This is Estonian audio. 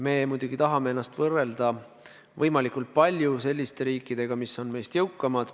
Me muidugi tahame ennast võrrelda võimalikult palju selliste riikidega, mis on meist jõukamad.